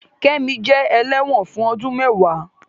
Kẹ́mi jẹ́ ẹlẹ́wọ̀n fún ọdún mẹ́ẹ̀wá